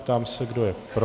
Ptám se, kdo je pro.